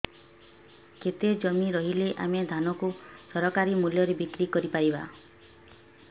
କେତେ ଜମି ରହିଲେ ଆମେ ଧାନ କୁ ସରକାରୀ ମୂଲ୍ଯରେ ବିକ୍ରି କରିପାରିବା